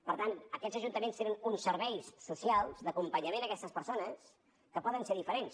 per tant aquests ajuntaments tenen uns serveis socials d’acompanyament a aquestes persones que poden ser diferents